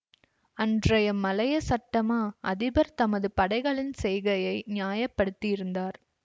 அன்றைய மலேய சட்டமா அதிபர் தமது படைகளின் செய்கையை நியாயப்படுத்தியிருந்தார்